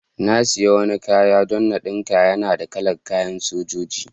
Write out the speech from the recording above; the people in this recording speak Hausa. Na siya wani kaya don n'dinka. Yana da kala'n kayan Sojoji.